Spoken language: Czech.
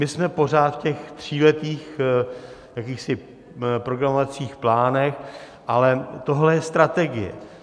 My jsme pořád v těch tříletých jakýchsi programovacích plánech, ale tohle je strategie.